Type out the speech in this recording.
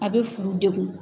A bɛ furu degun.